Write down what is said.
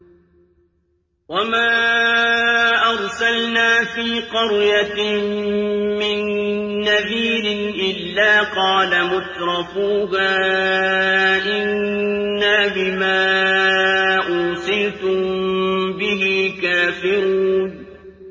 وَمَا أَرْسَلْنَا فِي قَرْيَةٍ مِّن نَّذِيرٍ إِلَّا قَالَ مُتْرَفُوهَا إِنَّا بِمَا أُرْسِلْتُم بِهِ كَافِرُونَ